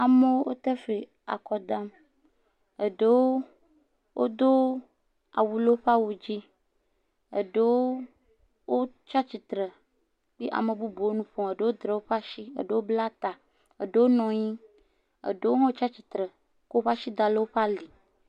Amewo wote fli le akɔ dam, aɖewo wodo awu o woƒe awu dzi, eɖewo wotsatsitre, ye ame bubuwo nu ƒom, eɖewo dra woƒe asi, eɖewo bla ta, eɖewo nɔ anyi, eɖewo hã tsatsitre kɔ woƒe asi da ɖe woƒe ali.